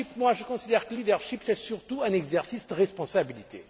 erreur. Je considère que le leadership c'est surtout un exercice de responsabilité.